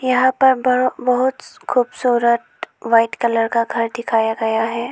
यहां पर बहुत खूबसूरत व्हाइट कलर का घर दिखाया गया है।